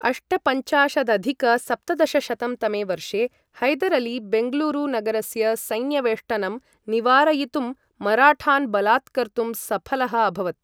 अष्टपञ्चाशदधिक सप्तदशशतं तमे वर्षे, हैदर् अली बेङ्गलूरु नगरस्य सैन्यवेष्टनं निवारयितुं मराठान् बलात्कर्तुं सफलः अभवत्।